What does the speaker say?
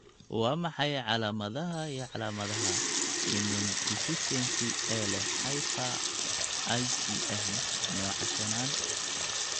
Waa maxay calaamadaha iyo calaamadaha Immundeficiency ee leh hyper IgM nooca shanaad?